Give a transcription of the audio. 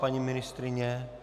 Paní ministryně?